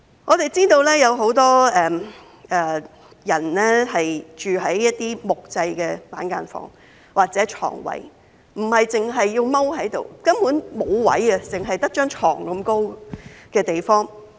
我們知道有很多人住在木製板間房或床位，他們要蹲下來，因為根本沒有空間，只有一張床那麼高的地方。